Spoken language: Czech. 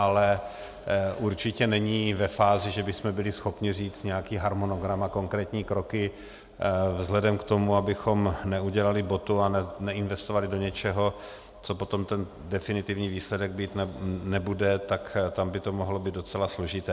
Ale určitě není ve fázi, že bychom byli schopni říct nějaký harmonogram a konkrétní kroky vzhledem k tomu, abychom neudělali botu a neinvestovali do něčeho, co potom ten definitivní výsledek mít nebude, tak tam by to mohlo být docela složité.